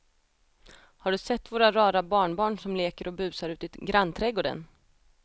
Har du sett våra rara barnbarn som leker och busar ute i grannträdgården!